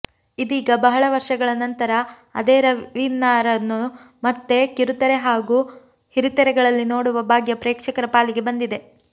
ಇದೀಗ ಬಹಳ ವರ್ಷಗಳ ನಂತರ ಅದೇ ರವೀನಾರನ್ನು ಮತ್ತೆ ಕಿರುತೆರೆ ಹಾಗೂ ಹಿರಿತೆರೆಗಳಲ್ಲಿ ನೋಡುವ ಭಾಗ್ಯ ಪ್ರೇಕ್ಷಕರ ಪಾಲಿಗೆ ಬಂದಿದೆ